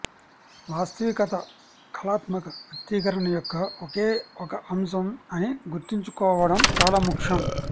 వాస్తవికత కళాత్మక వ్యక్తీకరణ యొక్క ఒకే ఒక అంశం అని గుర్తుంచుకోవడం చాలా ముఖ్యం